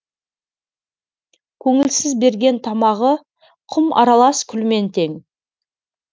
көңілсіз берген тамағы құм аралас күлмен тең